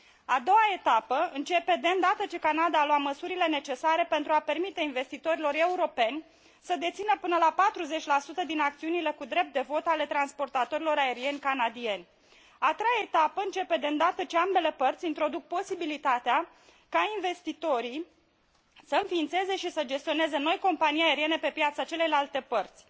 A doua etapă începe de îndată ce Canada a luat măsurile necesare pentru a permite investitorilor europeni să dețină până la 40 din acțiunile cu drept de vot ale transportatorilor aerieni canadieni. A treia etapă începe de îndată ce ambele părți introduc posibilitatea ca investitorii să înființeze și să gestioneze noi companii aeriene pe piața celeilalte părți.